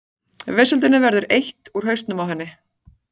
Vesöldinni verður eytt úr hausnum á henni.